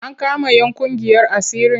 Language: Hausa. An kama 'yan ƙungiyar asirin?